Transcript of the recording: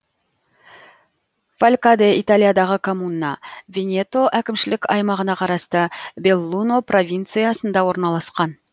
фалькаде италиядағы коммуна венето әкімшілік аймағына қарасты беллуно провинциясында орналасқан